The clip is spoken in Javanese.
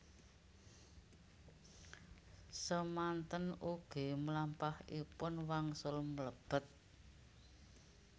Semanten ugi mlampahipun wangsul mlebet